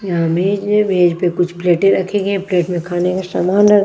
यहां मेज है मेज पे कुछ प्लेटें रखे गए हैं प्लेट में खाने के समान रखे --